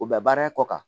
U bɛ baara in kɔ kan